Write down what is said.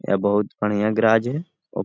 यह बहुत बढ़िया गैराज है ओ --